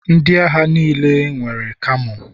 Ndị agha niile nwere kamo.